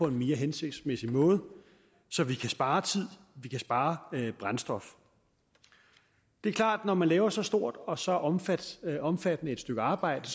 mere hensigtsmæssig måde så vi kan spare tid og spare brændstof det er klart at når man laver så stort og så omfattende omfattende et stykke arbejde